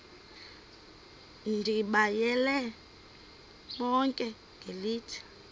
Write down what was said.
ndibayale bonke ngelithi